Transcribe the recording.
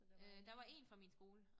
Øh der var én fra min skole